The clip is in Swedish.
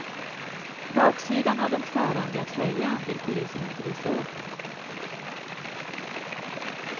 Baksidan av den tvärrandiga tröjan vill polisen inte visa upp.